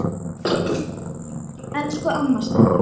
Elsku amma Stella.